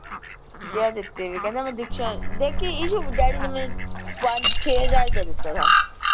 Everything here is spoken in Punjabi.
ਜਿਹੜਾ ਦਿੱਤੇ ਵਏ ਕਹਿੰਦਾ ਮੈਂ ਦੀਕਸ਼ਾ ਦੇਖੀ ਇਸ਼ੂ daddy ਨੇ ਮੈਨੂੰ ਪੰਜ ਛੇ ਹਜਾਰ ਰੁਪਏ ਦਿੱਤਾ ਥਾ